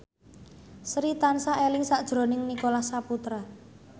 Sri tansah eling sakjroning Nicholas Saputra